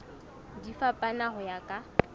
di fapana ho ya ka